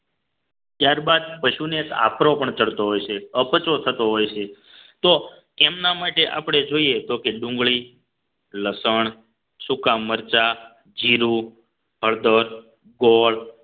ત્યારબાદ પશુને આપણો પણ ચડતો હોય છે અપચો થતો હોય છે તો એમના માટે આપણે જોઈએ તો કે ડુંગળી લસણ સુકા મરચાં જીરું હળદર ગોળ